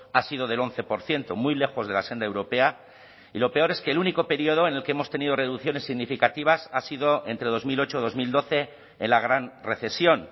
ha sido del once por ciento muy lejos de la senda europea y lo peor es que el único período en el que hemos tenido reducciones significativas ha sido entre dos mil ocho dos mil doce en la gran recesión